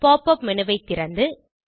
pop up menu ஐ திறந்து